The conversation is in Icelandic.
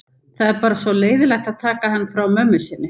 Það er bara svo leiðinlegt að taka hann frá mömmu sinni.